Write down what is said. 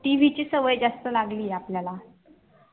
tv ची सवय जास्त लागली ये आपल्याला